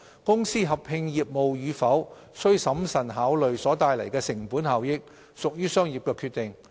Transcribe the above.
公司合併業務與否須審慎考慮所帶來的成本效益，屬於商業決定。